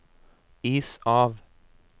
is av